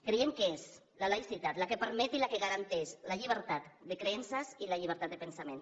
creiem que és la laïcitat la que permet i la que garanteix la llibertat de creences i la llibertat de pensament